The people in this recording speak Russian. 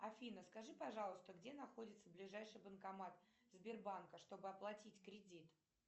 афина скажи пожалуйста где находится ближайший банкомат сбербанка что бы оплатить кредит